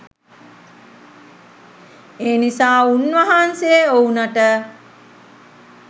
එනිසා උන්වහන්සේ ඔවුනට